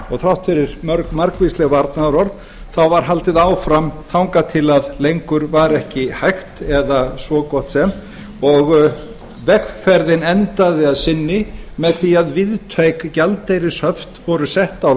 og þrátt fyrir margvísleg varnaðarorð var haldið áfram þangað til lengur var ekki hægt eða svo gott sem og vegferðin endaði að sinni með því að víðtæk gjaldeyrishöft voru sett á